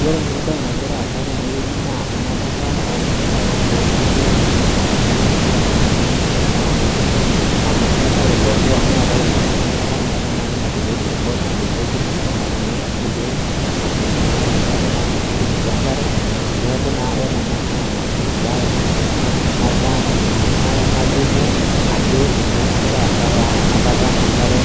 Wore ena baye nakira aasa tenewoji naa enapata enkare toongoriongi enaa enaitumia iltunganak naai. Amu keetae iloonyor, neetae ilaa enkidimata meeta nai natumie isirkon, natumie oltuktuk, natumie inkulie mashinini ashu naanapieki ninche enkare. Neeku naa wore ena naa embaye ena, nalimu ajo ninye nakira aasa taa, enapata enkare,